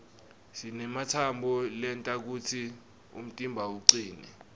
sinematsambo lenta kutsi umtimba ucine